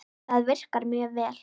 Það virkar mjög vel.